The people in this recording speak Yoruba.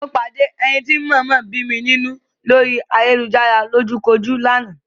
Mo pàdé ẹni tí ń mọ̀ọ́mọ̀ bí mi nínú lórí ayélujárá lójúkojú lánàá.